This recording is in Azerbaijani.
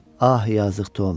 "Ah, yazıq Tom!